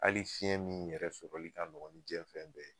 Ali fiɲɛ min yɛrɛ sɔrɔli ka nɔgɔ ni jiyɛn fɛn bɛɛ ye